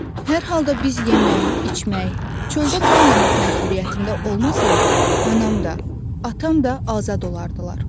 Hər halda biz yemək, içmək, çöldə qalmamaq məcburiyyətində olmasaydıq, anam da, atam da azad olardılar.